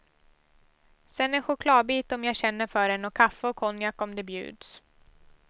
Sen en chokladbit om jag känner för den och kaffe och konjak om det bjuds.